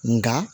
Nga